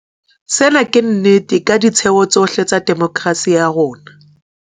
Sena ke nnete ka ditheo tsohle tsa demokerasi ya rona.